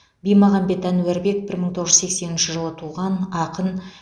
бимағамбет әнуарбек бір мың тоғыз жүз сексенінші жылы туған ақын